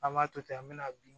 An b'a to ten an bɛna bin